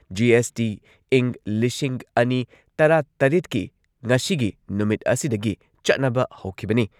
GST ꯏꯪ ꯂꯤꯁꯤꯡ ꯑꯅꯤ ꯇꯔꯥꯇꯔꯦꯠꯀꯤ ꯉꯁꯤꯒꯤ ꯅꯨꯃꯤꯠ ꯑꯁꯤꯗꯒꯤ ꯆꯠꯅꯕ ꯍꯧꯈꯤꯕꯅꯤ ꯫